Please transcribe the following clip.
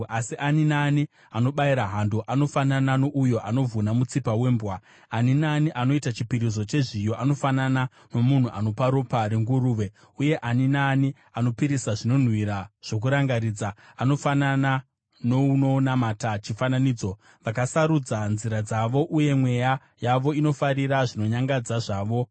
Asi ani naani anobayira hando akafanana nouyo anouraya munhu, uye anobayira gwayana, anofanana nouyo anovhuna mutsipa wembwa; ani naani anoita chipiriso chezviyo anofanana nomunhu anopa ropa renguruve, uye ani naani anopisira zvinonhuhwira zvokurangaridza, anofanana nounonamata chifananidzo. Vakasarudza nzira dzavo, uye mweya yavo inofarira zvinonyangadza zvavo;